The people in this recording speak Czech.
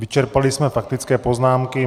Vyčerpali jsme faktické poznámky.